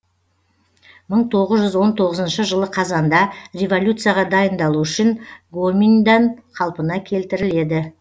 мың тоғыз жүз он тоғызыншы жылы қазанда революцияға дайындал гоминьдан қалпына келтіріледі